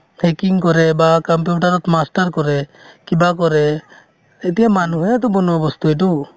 hacking কৰে বা computer ত master কৰে কিবা কৰে এতিয়া মানুহেতো বনোৱা বস্তু এইটো